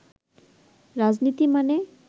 রাজনীতি মানে